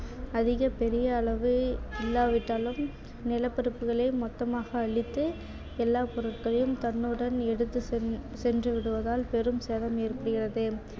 அதிக பெரிய அளவு இல்லாவிட்டாலும் நிலப்பரப்புகளை மொத்தமாக அழித்து எல்லா பொருட்களையும் தன்னுடன் எடுத்து சென்~ சென்று விடுவதால் பெரும் சேதம் ஏற்படுகிறது